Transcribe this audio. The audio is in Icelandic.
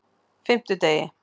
fimmtudegi